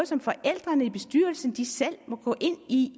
som forældrene i bestyrelsen selv må gå ind i